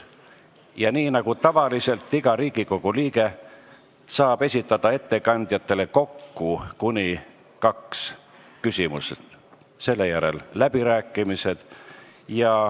Ja nii nagu tavaliselt, iga Riigikogu liige saab esitada ettekandjatele kokku kuni kaks küsimust, selle järel on läbirääkimised.